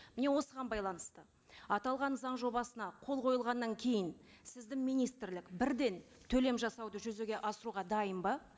міне осыған байланысты аталған заң жобасына қол қойылғаннан кейін сіздің министрлік бірден төлем жасауды жүзеге асыруға дайын ба